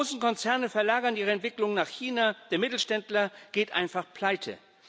Die großen Konzerne verlagern ihre Entwicklungen nach China, der Mittelständler geht einfach pleite.